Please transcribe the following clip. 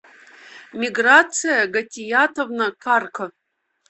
миграция гатиятовна карка